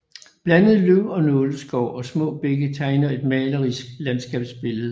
Blandet løv og nåleskov og små bække tegner et malerisk landskabsbillede